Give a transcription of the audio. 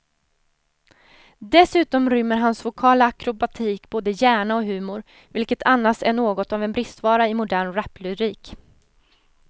Dessutom rymmer hans vokala akrobatik både hjärna och humor, vilket annars är något av en bristvara i modern raplyrik.